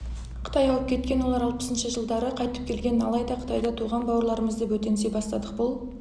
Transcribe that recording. қытай ауып кеткен олар алтпысыншы жылдары қайтып келген алайда қытайда туған бауырларымызды бөтенси бастадық бұл